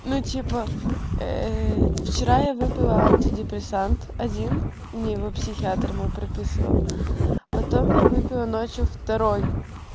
ну типа ээ вчера я выпила антидепрессант один мне его психиатр мой прописал потом я выпила ночью второй